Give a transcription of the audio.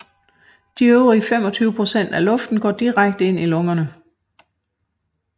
De øvrige 25 procent af luften går direkte ind i lungerne